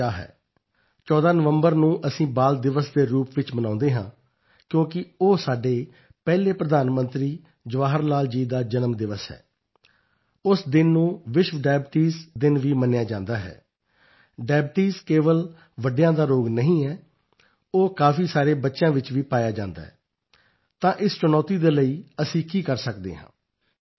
ਪਾਰਥ ਸ਼ਾਹ ਹੈ 14 ਨਵੰਬਰ ਨੂੰ ਅਸੀਂ ਬਾਲ ਦਿਵਸ ਦੇ ਰੂਪ ਵਿੱਚ ਮਨਾਉਂਦੇ ਹਾਂ ਕਿਉਂਕਿ ਉਹ ਸਾਡੇ ਪਹਿਲੇ ਪ੍ਰਧਾਨ ਮੰਤਰੀ ਜਵਾਹਰ ਲਾਲ ਜੀ ਦਾ ਜਨਮ ਦਿਵਸ ਹੈ ਉਸ ਦਿਨ ਨੂੰ ਵਿਸ਼ਵ ਡਾਇਬਟੀਜ਼ ਦਿਨ ਵੀ ਮੰਨਿਆ ਜਾਂਦਾ ਹੈ ਡਾਇਬਟੀਜ਼ ਕੇਵਲ ਵੱਡਿਆਂ ਦਾ ਰੋਗ ਨਹੀਂ ਹੈ ਉਹ ਕਾਫੀ ਸਾਰੇ ਬੱਚਿਆਂ ਵਿੱਚ ਵੀ ਪਾਇਆ ਜਾਂਦਾ ਹੈ ਤਾਂ ਇਸ ਚੁਣੌਤੀ ਦੇ ਲਈ ਅਸੀਂ ਕੀ ਕਰ ਸਕਦੇ ਹਾਂ